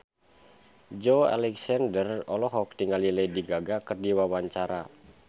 Joey Alexander olohok ningali Lady Gaga keur diwawancara